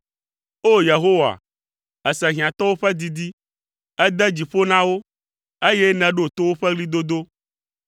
O! Yehowa, èse hiãtɔwo ƒe didi; ède dzi ƒo na wo, eye nèɖo to woƒe ɣlidodo.